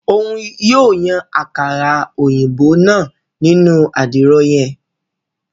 Òun yóò Yàn àkàrà òyìnbó náà nínu àdìro yen